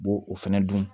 U b'o fɛnɛ dun